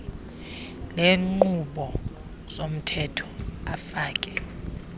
leenkqubo zomthetho afake